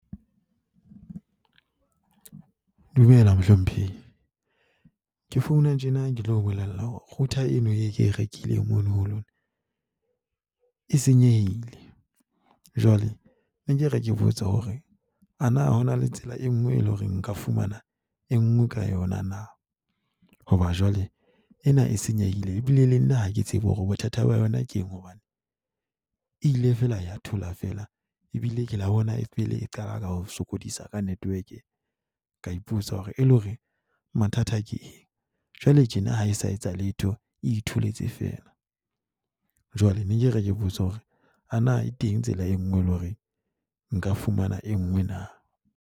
Dumela, mohlomphehi. Ke founa tjena ke tlo o bolella hore router eno e ke e rekileng mono ho lona e senyehile. Jwale ne ke re ke botsa hore ana ho na le tsela e nngwe, e leng hore nka fumana e nngwe ka yona na? Hoba jwale ena e senyehile, ebile le nna ha ke tsebe hore bothata ba yona ke eng hobane e ile fela ya thola feela ebile kila bona e qala ka o sokodisa ka network-e. Ka ipotsa hore e leng hore mathata ke eng. Jwale tjena ha e sa etsa letho, e itholetse fela. Jwale ne ke re ke botsa hore ana e teng tsela e nngwe, e leng hore nka fumana e nngwe na?